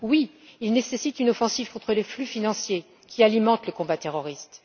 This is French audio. Oui, il nécessite une offensive contre les flux financiers qui alimentent le combat terroriste.